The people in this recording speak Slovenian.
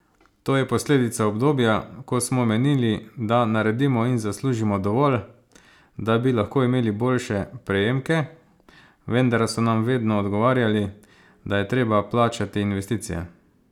To je posledica obdobja, ko smo menili, da naredimo in zaslužimo dovolj, da bi lahko imeli boljše prejemke, vendar so nam vedno odgovarjali, da je treba plačati investicije!